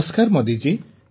ନମସ୍କାର ମୋଦିଜୀ